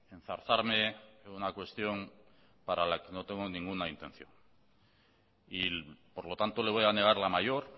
enzarzarme en una cuestión para la que no tengo ninguna intención y por lo tanto le voy a negar la mayor